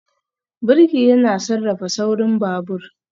Birki yana sarrafa saurin babur